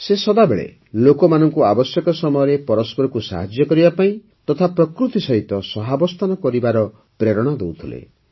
ସେ ସଦାବେଳେ ଲୋକମାନଙ୍କୁ ଆବଶ୍ୟକ ସମୟରେ ପରସ୍ପରକୁ ସାହାଯ୍ୟ କରିବା ପାଇଁ ତଥା ପ୍ରକୃତି ସହିତ ମଧ୍ୟ ସହାବସ୍ଥାନ କରିବାର ପ୍ରେରଣା ଦେଉଥିଲେ